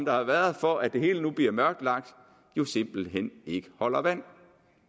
har været for at det hele nu bliver mørklagt jo simpelt hen ikke holder vand